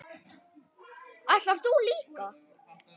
Ætlar þú líka?